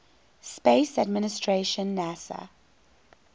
space administration nasa